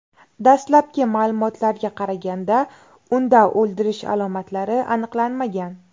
Dastlabki ma’lumotlarga qaraganda, unda o‘ldirish alomatlari aniqlanmagan.